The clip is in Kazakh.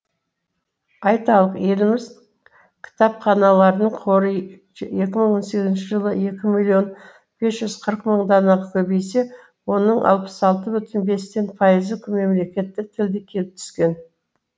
айталық еліміз кітапханаларының қоры екі мың он сегізінші жылы екі миллион бес жүз қырық мың данаға көбейсе оның алпыс алты бүтін бестен пайызы мемлекеттік тілде келіп түскен